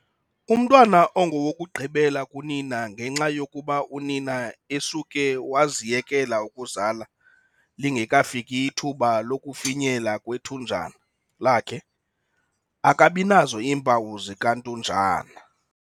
Umntwana ongowokugqibela kunina ngenxa yokuba unina esuke waziyekela ukuzala lingekafiki ithuba lokufinyela kwethunjana lakhe, akabi nazo iimpawu zikantunjana.